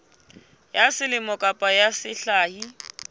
ya selemo kapa ya sehla